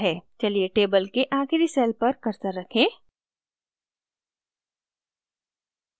चलिए table के आखिरी cell पर cursor रखें